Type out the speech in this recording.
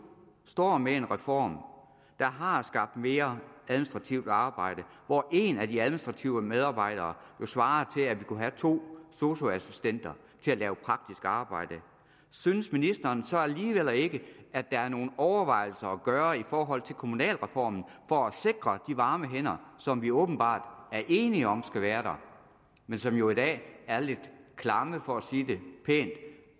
står med en reform der har skabt mere administrativt arbejde og hvor én af de administrative medarbejdere jo svarer til at vi kunne have to sosu assistenter til at lave praktisk arbejde synes ministeren så alligevel ikke at der er nogle overvejelser at gøre i forhold til kommunalreformen for at sikre de varme hænder som vi åbenbart er enige om skal være der men som jo i dag er lidt klamme for at sige det pænt